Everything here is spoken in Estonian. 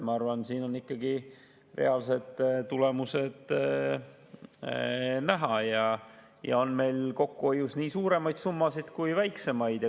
Ma arvan, et siin on ikkagi reaalsed tulemused näha ja on meil kokkuhoius nii suuremaid summasid kui väiksemaid.